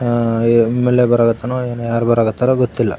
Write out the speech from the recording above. ಹ ಎಂಎಲ್ಎ ಬರಾಕ್ ಹತ್ತಾರೋ ಯಾರು ಬರಾಕ್ ಹತ್ತಾರೋ ಗೊತ್ತಿಲ್ಲ.